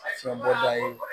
Fiɲɛ bɔda ye